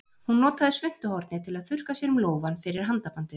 Hún notaði svuntuhornið til að þurrka sér um lófann fyrir handabandið.